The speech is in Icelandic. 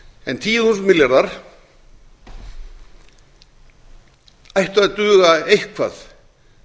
en tíu þúsund milljarðar ættu að duga eitthvað